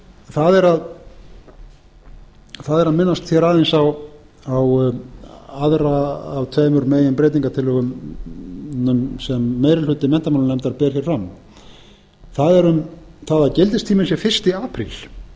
það er að minnast hér aðeins á aðra af tveimur meginbreytingartillögum sem meiri hluti menntamálanefndar ber hér fram það er um það að gildistíminn sé fyrsti apríl